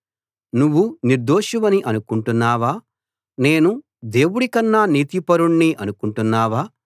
నువ్వు నిర్దోషివని అనుకుంటున్నావా నేను దేవుడి కన్నా నీతిపరుణ్ణి అనుకుంటున్నావా